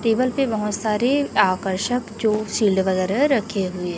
table पे बहोत सारे आकर्षक जो शील्ड वगैरह रखे हुए--